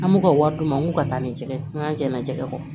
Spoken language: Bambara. An b'u ka wari d'u ma u ka taa nin jɛgɛ n ka jɛna jɛgɛ kɔ